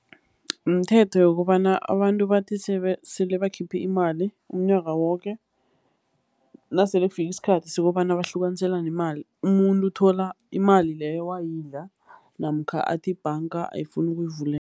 Mthetho wokobana abantu bathi sele bakhiphe imali umnyaka woke, nasele kufike isikhathi sokobana bahlukaniselane imali, umuntu uthola imali leyo wayidla namkha athi ibhanga ayifuni